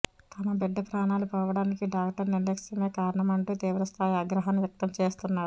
తమ బిడ్డ ప్రాణాలు పోవడానికి డాక్టర్ల నిర్లక్ష్యమే కారణమంటూ తీవ్రస్థాయి ఆగ్రహాన్ని వ్యక్తం చేస్తున్నారు